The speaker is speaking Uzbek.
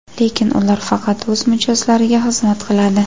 Lekin ular faqat o‘z mijozlariga xizmat qiladi.